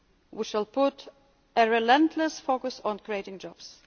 unemployment. We shall place a relentless focus on creating